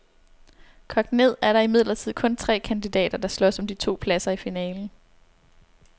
Kogt ned er der imidlertid kun tre kandidater, der slås om de to pladser i finalen.